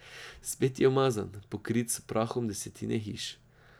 Spet je umazan, pokrit s prahom desetine hiš.